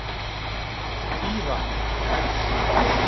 Týra